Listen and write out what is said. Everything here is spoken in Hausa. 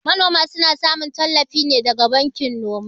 Manoma suna samun tallafi ne daga bankin noma.